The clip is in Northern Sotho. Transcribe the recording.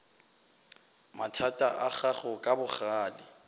mathata a gago ka bogale